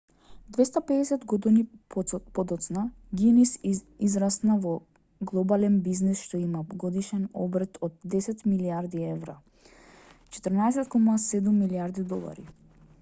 250 години подоцна гинис израсна во глобален бизнис што има годишен обрт од 10 милијарди евра 14.7 милијарди долари